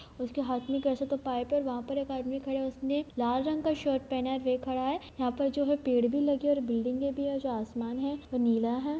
उसके हाथ मे वैसे तो पाइप है वहा पर एक आदमी खड़ा है उसने लाल रंग का शर्ट पहना है वे खड़ा है यहां पर जो है पेड़ भी लगे है और बिल्डिगे भी है जो आसमान है वो नीला है।